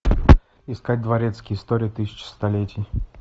искать дворецкий история тысячи столетий